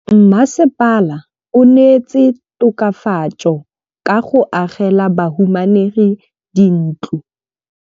Mmasepala o neetse tokafatsô ka go agela bahumanegi dintlo.